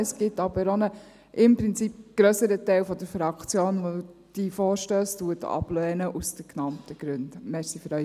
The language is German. Es gibt jedoch auch einen grösseren Teil der Fraktion, der diese Vorstösse aus den genannten Gründen ablehnt.